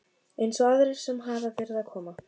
Eins og aðrir sem hafa verið að koma?